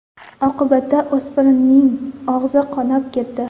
Oqibatda o‘spirinning og‘zi qonab ketdi.